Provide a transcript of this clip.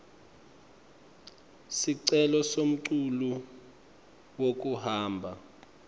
sicelo semculu wekuhamba